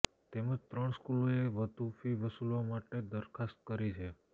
તેમજ ત્રણ સ્કૂલોએ વધુ ફી વસૂલવા માટે દરખાસ્ત કરી છે